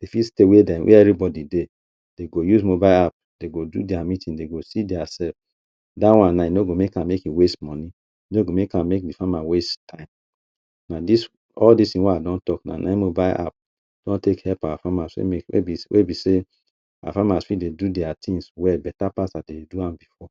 E fit stay where dem where everybody dey, dey go use mobile app dem go do their meetings, dem go see their self. Dat one now e no go make make e waste money, e no go make am make de farmer waste time. Na dis all dis thing wey I don talk now na im mobile app don take help our farmers na wey be sey our farmer fit dey do there things well better pass as dey dey do am before.